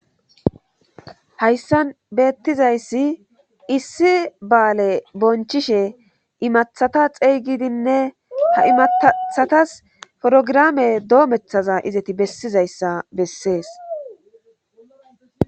hayssan beettizayssi issi baale bonchishe imathata xeygidinne ha imattthatas forogirame doomethaza izati bessizayssa bessees